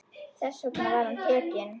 Þess vegna var hann tekinn.